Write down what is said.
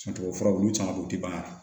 tubabu furaw olu caman be yen u ti ban ka